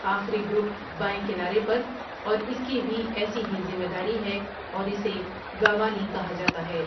آخری گروپ بائیں کنارے پر ، اور اس کی بھی ایسی ہی ذمہ داری ہے اور اسے گاوانی کہا جاتا ہے ۔